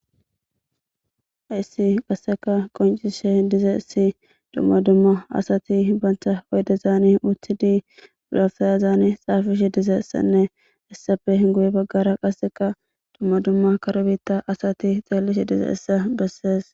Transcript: Haysi qasseka qoncishe dize issi dumma dumma asati bantha oyde zaani uthidi bulafayazaani xaafishi dize essanne issafe hinguye baggara qasseka dumma dumma karobiitta asati xeellishi dize issa bessees